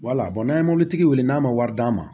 Wala n'a ye mobilitigi wele n'a ma wari d'a ma